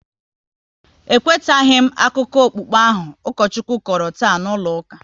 E kwetaghi m akụkọ okpukpe ahụ Ukochukwu kọrọ taa n'ụlọ ụka